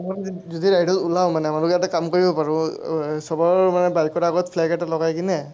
যদি এইটো ওলাওঁ মানে, ইয়াতে কাম কৰিব পাৰোঁ এৰ চবৰ মানে বাইকৰ আগত flag এটা লগাই কিনে